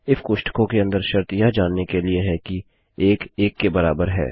if कोष्ठकों के अंदर शर्त यह जानने के लिए है कि 1 1 के बराबर है